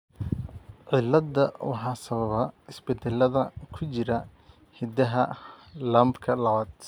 Ciladda waxaa sababa isbeddellada ku jira hiddaha LAMPka lawad.